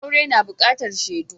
Aure na buƙatar shaidu.